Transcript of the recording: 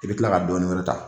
I bɛ tila ka dɔɔni wɛrɛ ta.